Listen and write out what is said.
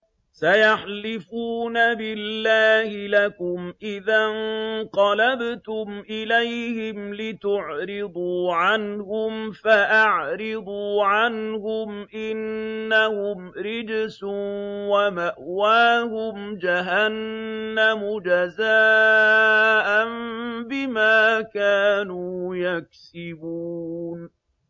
سَيَحْلِفُونَ بِاللَّهِ لَكُمْ إِذَا انقَلَبْتُمْ إِلَيْهِمْ لِتُعْرِضُوا عَنْهُمْ ۖ فَأَعْرِضُوا عَنْهُمْ ۖ إِنَّهُمْ رِجْسٌ ۖ وَمَأْوَاهُمْ جَهَنَّمُ جَزَاءً بِمَا كَانُوا يَكْسِبُونَ